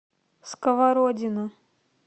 сковородино